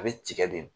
A bɛ tigɛ de